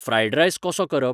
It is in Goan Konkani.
फ्रायड रायस कसो करप ?